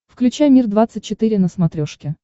включай мир двадцать четыре на смотрешке